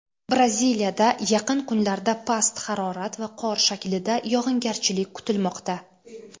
Braziliyada yaqin kunlarda past harorat va qor shaklida yog‘ingarchilik kutilmoqda.